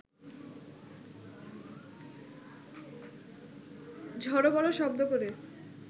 ঝড় বড় শব্দ করে